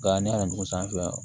Nka ne y'a dugu sanfɛ